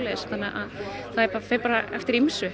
þetta fer eftir ýmsu